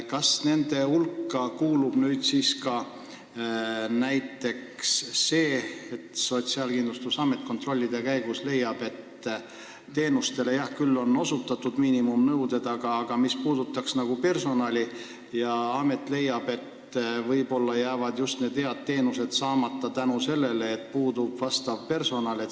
Kas nende hulka kuulub ka näiteks see, et kui Sotsiaalkindlustusamet kontrollide käigus leiab, et teenuseid on küll osutatud ja miinimumnõuded täidetud, aga mis puudutab personali, siis amet leiab, et võib-olla jäävad head teenused saamata seetõttu, et puudub vastav personal.